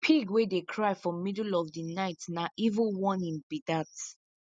pig wey dey cry for middle of di night na evil warning be dat